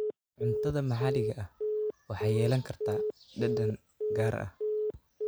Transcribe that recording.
Cuntada maxaliga ahi waxay yeelan kartaa dhadhan gaar ah.